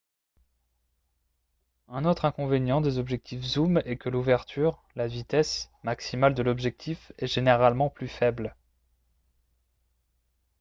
un autre inconvénient des objectifs zooms est que l’ouverture la vitesse maximale de l’objectif est généralement plus faible